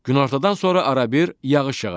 Günortadan sonra arabir yağış yağacaq.